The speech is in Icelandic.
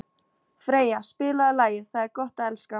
Freyja, spilaðu lagið „Það er gott að elska“.